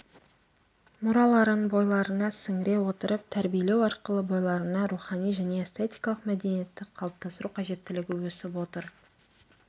мұраларын бойларына сіңіре отырып тәрбиелеу арқылы бойларына рухани және эстетикалық мәдениетті қалыптастыру қажеттілігі өсіп отыр